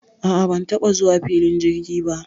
A a, ban taɓa zuwa filin jirgi ba.